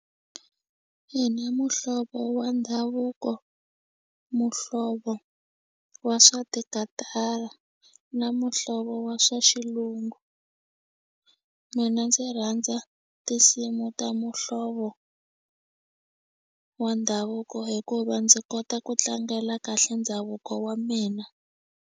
Ina muhlovo wa ndhavuko muhlovo wa swa tikatara na muhlovo wa swa xilungu mina ndzi rhandza tinsimu ta muhlovo wa ndhavuko hikuva ndzi kota ku tlangela kahle ndhavuko wa mina.